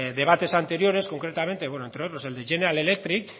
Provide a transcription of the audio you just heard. debates anteriores concretamente entre otros el de general electric